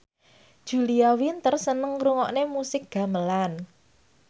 Julia Winter seneng ngrungokne musik gamelan